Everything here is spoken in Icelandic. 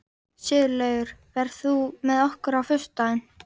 Sigurlaugur, ferð þú með okkur á föstudaginn?